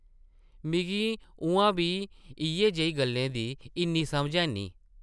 मिगी उʼआं बी इʼयै जेही गल्लें दी इन्नी समझ हैन्नी ।